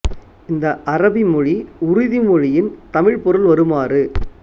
இந்த அரபி மொழி உறுதி மொழியின் தமிழ்ப் பொருள் வருமாறு